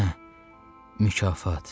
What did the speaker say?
Hə mükafat.